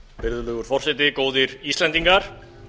virðulegur forseti góðir íslendingar